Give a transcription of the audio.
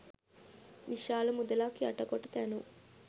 විශාල මුදලක් යට කොට තැනූ